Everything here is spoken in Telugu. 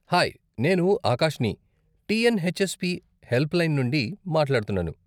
హాయ్! నేను ఆకాష్ని, టీఎన్హెచ్ఎస్పీ హెల్ప్లైన్ నుండి మాట్లాడుతున్నాను.